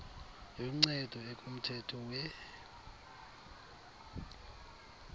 yoncedo ekumthetho we